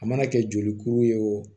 A mana kɛ jolikuru ye o